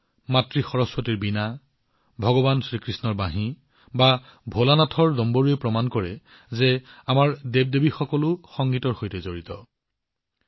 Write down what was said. মা সৰস্বতীৰ বীণা হওক ভগৱান কৃষ্ণৰ বাঁহী হওক বা ভোলেনাথৰ দম্বৰু হওক আমাৰ দেৱদেৱীও সংগীতৰ সৈতে সংলগ্ন হৈ আছে